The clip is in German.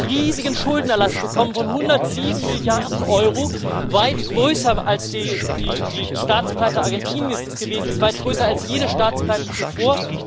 Dann hat Griechenland einen riesigen Schuldenerlass bekommen von 107 Milliarden Euro weit größer, als die Staatspleite Argentiniens es gewesen ist, weit größer als jede Staatspleite zuvor.